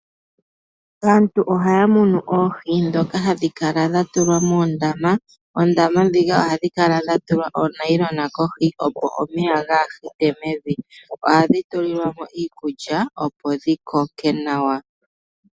Aantu ohaya munu oohi ndhoka hadhi kala dha tulwa moondama. Oondama ndhika ohadhi kala dha tulwa oonayilona kohi, opo omeya gaa hite mevi. Ohadhi tulilwa mo iikulya, opo dhi koke nawa.